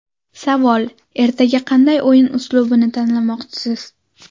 Savol: Ertaga qanday o‘yin uslubini tanlamoqchisiz?